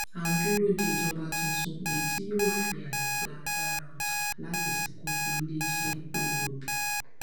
a ń dúró de ìjọba tuntun èyí tí yóò fi ààyè gba agbára ọjà láti ṣàkóso iléiṣẹ epo rọbì